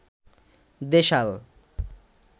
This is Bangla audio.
দেশাল